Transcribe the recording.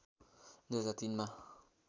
२००३ मा